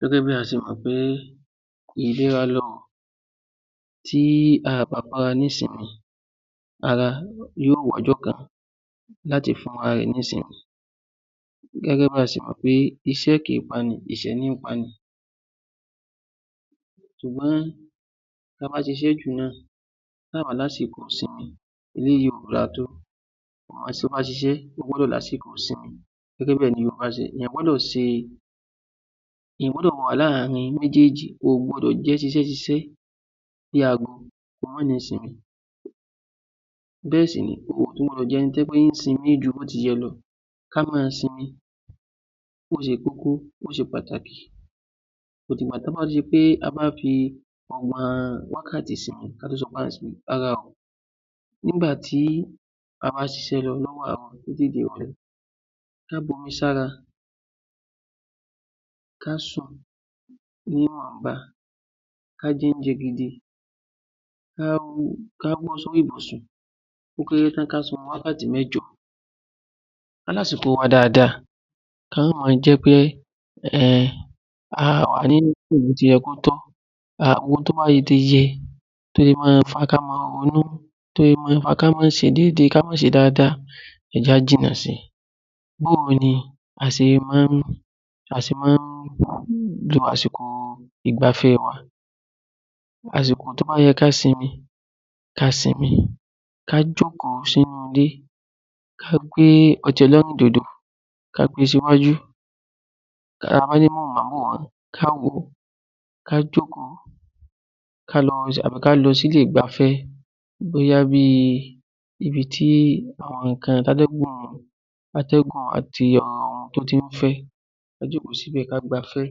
Gẹ́gẹ́ bí a ti mọ̀ pé ìlera lọrọ̀ tí a ò bá fún ara ní ìsinmi ara yóò wá ọjọ́ kan láti fún ara rẹ ní ìsinmi, gẹ́gẹ́ bí a ti mọ̀ wí pé iṣẹ́ kìí pani ìṣẹ́ níí pani, eléyìí kò dáa tó àwọn ṣiṣẹ́ ṣiṣẹ́ gbọ́dọ̀ ní àsìkò ìsinmi, gbọ́dọ̀ wà láàrin àwọn méjèèjì, ènìyàn kò gbọdọ̀ jẹ́ ṣiṣẹ́ ṣiṣẹ́ kó má ní àsìkò ìsinmi bẹ́ẹ̀ ni ènìyàn kò gbọdọ̀ sinmi ju bí ó ti yẹ lọ ká máa sinmi ó ṣe kókó ó ṣe pàtàkì, kò dìgbà tó bá di pé a bá fi ọgbọ̀n wákàtí sinmi kó tó di pé a sinmi; rárá o, nígbà tí a bá ṣiṣẹ́ lọ, tí ó bá di ìrọlẹ́ ká bomi sára ká sùn níwọ̀nba ká jẹ oúnjẹ gidi, ká bọ́ sórí ibùsùn ó kééré tán ká sun orun wákàtí mẹ́jọ, a ní láti sun orun wa dáadáa kó má ma jẹ́ wí pé, a wà nínú bí ó ti yẹ kí ó tọ́ àwọn ohun tó bá yẹ ká máa ronú tó lè fa ká má ṣe déédéé, ká má ṣe dáadáa ẹ jẹ́ ká jìnnà sí i a sì máa ń lo àsìkò ìgbafẹ́ wa, àsìkò tó bá yẹ ká sinmi ká sinmi ká jókòó sínú ilé, ká gbé ọtí ẹlẹ́rìndòdò, ká gbé e sí wájú, tá a bá ní móhùn máwòrán ni ká wò ó ká jókòó tàbí kí á lọ sí ilé ìgbafẹ́ bóyá ibi tí àwọn àtẹ́gùn àti àwọn afẹ́fẹ́ ti máa ń fẹ́ ká jókòó síbẹ̀ ká gbafẹ́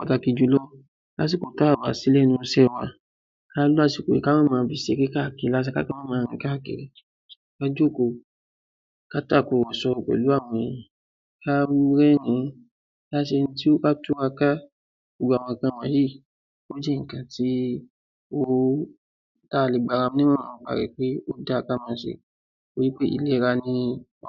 pàtàkì jù lọ lásìkò tí a kò bá sí lẹ́nu iṣẹ́ wa, ká lo àsìkò ká má fi ṣeré káàkiri ká sì má máa rìn káàkiri, ká jókòó ká tàkurọ̀sọ pẹ̀lú àwọn ènìyàn ká túraká, gbogbo àwọn nǹkan wọ̀nyí, ó jẹ́ àwọn nǹkan tí a lè gba ara wa ní ìyànjú láti ṣe torí ìlera ni ọrọ̀. ‎